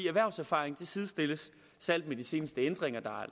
erhvervserfaring sidestilles særlig med de seneste ændringer